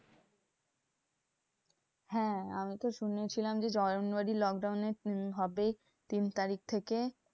হ্যাঁ আমি তো শুনেছিলাম যে জানুয়ারির lockdown এ উম হবে তিন তারিখ থেকে।